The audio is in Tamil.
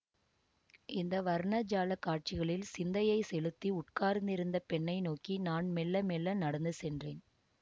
இந்த வர்ண ஜாலக் காட்சிகளில் சிந்தையைச் செலுத்தி உட்கார்ந்திருந்த பெண்ணை நோக்கி நான் மெள்ள மெள்ள நடந்து சென்றேன்